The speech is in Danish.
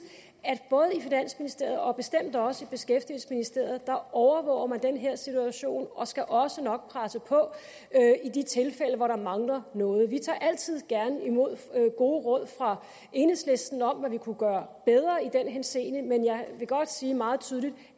at både i finansministeriet og bestemt også i beskæftigelsesministeriet overvåger den her situation og man skal også nok presse på i de tilfælde hvor der mangler noget vi tager altid gerne imod gode råd fra enhedslisten om hvad vi kunne gøre bedre i den henseende men jeg vil godt sige meget tydeligt